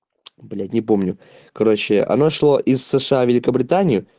блять не помню короче она шла из сша в великобретанию